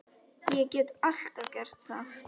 Ég get alltaf gert það.